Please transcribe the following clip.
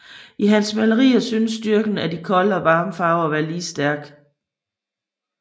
I hans malerier synes styrken af de kolde og varme farver at være lige stærk